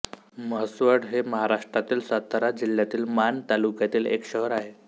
म्हसवड हे महाराष्ट्रातील सातारा जिल्ह्यातील माण तालुक्यातील एक शहर आहे